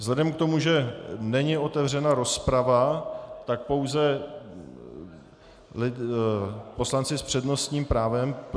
Vzhledem k tomu, že není otevřena rozprava, tak pouze poslanci s přednostním právem.